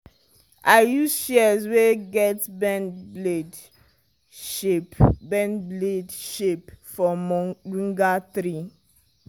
i use shears wey get bend blade shape bend blade shape my moringa tree.